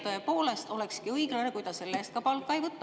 Tõepoolest olekski õiglane, kui ta selle eest ka palka ei võta.